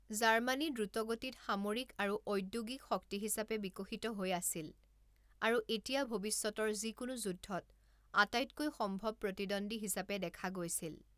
Germany দ্ৰুতগতিত সামৰিক আৰু ঔদ্যোগিক শক্তি হিচাপে বিকশিত হৈ আছিল আৰু এতিয়া ভৱিষ্যতৰ যিকোনো যুদ্ধত আটাইতকৈ সম্ভৱ প্ৰতিদ্বন্দ্বী হিচাপে দেখা গৈছিল।